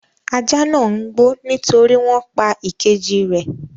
Ajá náà ń gbó nítorí wọn pa ìkejì rẹ̀.